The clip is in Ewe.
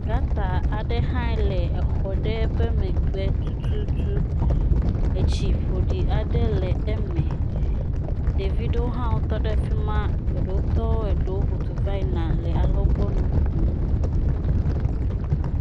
Gata aɖe hã le exɔ ɖe ƒe megbe tutu, etsi ƒoɖi aɖe le eme. Ɖevi aɖewo tɔ ɖe afima, eɖewo tɔ, eɖe ƒudu va yina le alɔgbɔ nu kom.